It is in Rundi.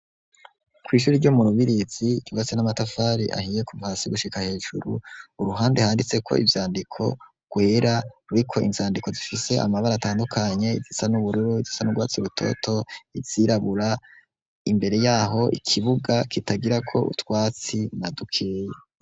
Kw' ishure ryo murubirizi ryubatse n'amatafari ahiye kuva hasi gushika hejuru, uruhande handitseko ivyandiko gwera ruriko inzandiko zifise amabara atandukanye izisa n'ubururu izisa n'urwabatsi rutoto, izirabura, imbere yaho ikibuga kitagirako utwatsi nadukeya.